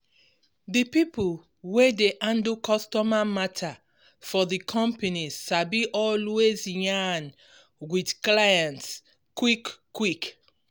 di people wey dey handle customer matter for di companies sabi always yarn with clients quick-quick.